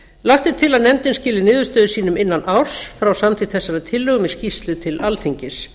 lagt er til að nefndin skili niðurstöðum sínum innan árs frá samþykkt þessarar tillögu með skýrslu til alþingis